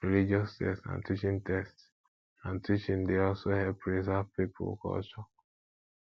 religious text and teaching text and teaching dey also help preserve pipo culture